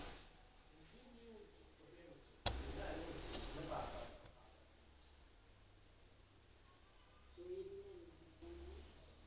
ദ്ര